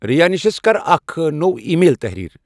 رَیانشس کر اکھ نٔو ای میل تحرِیر ۔